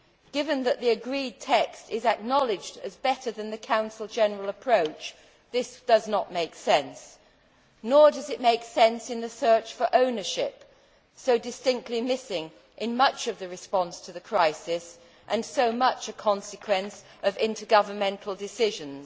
Given that the agreed text is acknowledged as better than the Council general approach, this does not make sense. Nor does it make sense in the search for ownership so distinctly missing in much of the response to the crisis and so much a consequence of intergovernmental decisions.